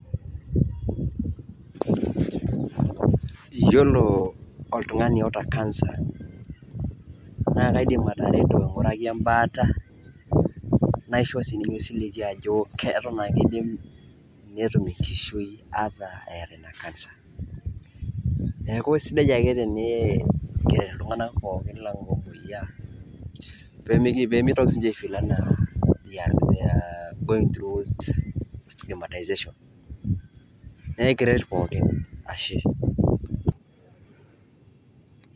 iyiolo oltung'ani oota cancer naa kaidim atereto aing'uraki ebaata, naishoo sininye osiligi ajo keton ake idim netum enkishui ata eeta ina cancer , neeku sidai ake tenikiret iltung'anak lang' pee mitoki siniche i feel going through stigmatization naa ekiret pooki.